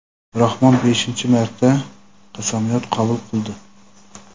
Rahmon beshinchi marta qasamyod qabul qildi.